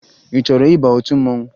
Ị chọrọ ịba otu mmanwụ?